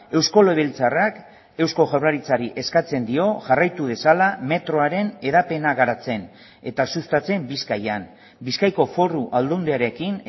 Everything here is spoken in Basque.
eusko legebiltzarrak eusko jaurlaritzari eskatzen dio jarraitu dezala metroaren hedapena garatzen eta sustatzen bizkaian bizkaiko foru aldundiarekin